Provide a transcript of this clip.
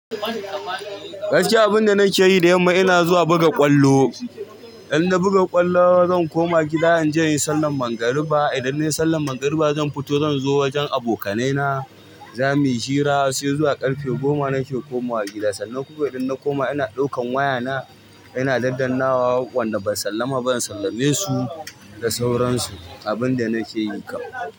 Gaskiya abinda nake yi da yamma ina zuwa buga ƙwallo. In na buga ƙwallo zan koma gida in je in sallan magariba. Idan nai sallan magriba zan fito zan zo wajen abokanai na zamuyi hira sai zuwa ƙarfe goma nake komawa gida. Sannan kuma idan na koma ina ɗaukan wayana ina ɗanɗana wa wanda ban sallama ba in sallame su da sauransu. Abinda nake yin kam.